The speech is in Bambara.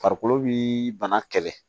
Farikolo bi bana kɛlɛ